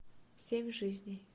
семь жизней